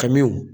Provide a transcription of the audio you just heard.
Kamiw